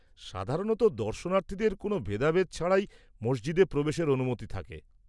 -সাধারণত দর্শনার্থীদের কোন ভেদাভেদ ছাড়াই মসজিদে প্রবেশের অনুমতি থাকে।